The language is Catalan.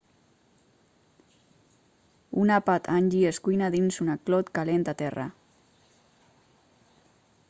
un àpat hangi es cuina dins una clot calent a terra